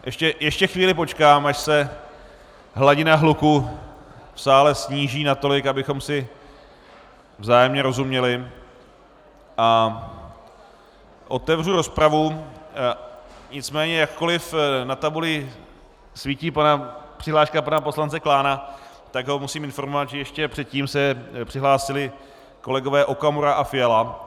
Ještě chvíli počkám, až se hladina hluku v sále sníží natolik, abychom si vzájemně rozuměli, a otevřu rozpravu, nicméně jakkoliv na tabuli svítí přihláška pana poslance Klána, tak ho musím informovat, že ještě předtím se přihlásili kolegové Okamura a Fiala.